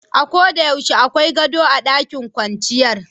A'ko de yaushe akwai gado a ɗakin kwanciyar.